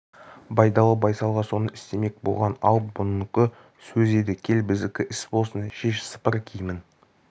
байдалы байсалға соны істемек болған ал мұныкі сөз еді кел біздікі іс болсын шеш сыпыр киімін